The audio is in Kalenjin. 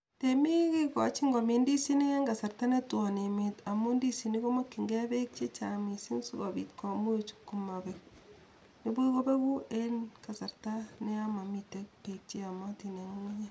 Temiik kigochin komiin ndisinik en kasarta netwon emeet amun ndisinik komakyinge peek chechang' misiing' sikopiit komuch komapeg, nipuch kopegu en kasarta neyon momiten peek cheyomotin en ng'ung'unyek